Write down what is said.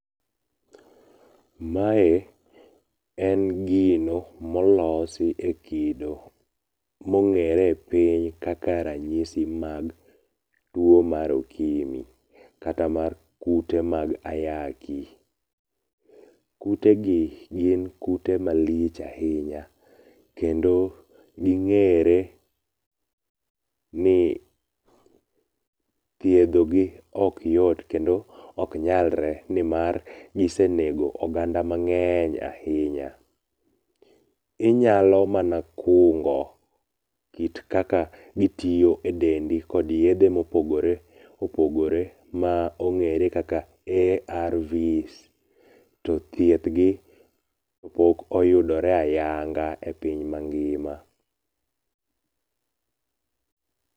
Mae en gino molosi e kido mong'ere e piny kaka ranyisi mag tuo mar okimi kata mar kute mag ayaki. Kute gi gin kute malich ahinya kendo ging'ere ni thiedhogi ok yot kendo ok nyalre nimar gisenego oganda mang'eny ahinya. Inyalo mana kungo kit kaka gitiyo e dendi kod yedhe mopogore opogore mong'ere kaka ARVs to thiedh gi pok oyudore ayanga e piny mangima.